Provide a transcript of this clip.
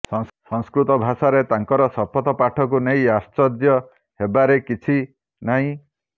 ସଂସ୍କୃତ ଭାଷାରେ ତାଙ୍କର ଶପଥପାଠକୁ ନେଇ ଆଶ୍ଚର୍ଯ୍ୟ ହେବାରେ କିଛି ନାହିଁ